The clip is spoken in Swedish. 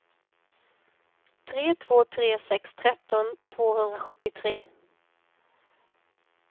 tre två tre sex tretton tvåhundrasjuttiotre